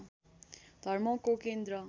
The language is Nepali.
धर्मको केन्द्र